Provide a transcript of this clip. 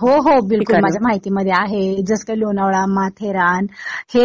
हो हो बिलकुल. माझ्या माहितीमध्ये आहे. जसं लोणावळा, माथेरान हे